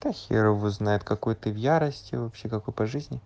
да хер его знает какой ты в ярости вообще какой по жизни